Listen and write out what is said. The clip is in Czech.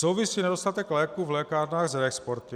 Souvisí nedostatek léků v lékárnách s reexporty?